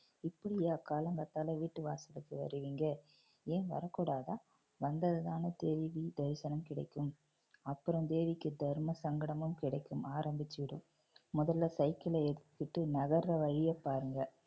இப்படியா காலங்காத்தால வீட்டு வாசலுக்கு வருவீங்க ஏன் வரக் கூடாதா? வந்ததுனால தேவி தரிசனம் கிடைக்கும் அப்புறம் தேவிக்கு தர்மசங்கடமும் கிடைக்கும் ஆரம்பிச்சுடும் முதல்ல சைக்கிளை எடுத்துகிட்டு நகர்ற வழிய பாருங்க